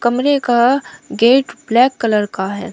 कमरे का gate black colour का है।